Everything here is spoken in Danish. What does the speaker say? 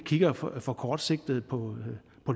kigger for for kortsigtet på